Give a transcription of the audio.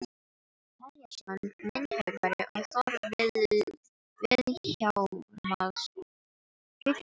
Elíasson myndhöggvari og Thor Vilhjálmsson rithöfundur.